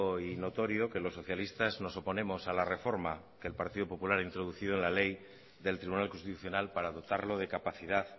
y notorio que los socialistas nos oponemos a la reforma que el partido popular ha introducido en la ley del tribunal constitucional para dotarlo de capacidad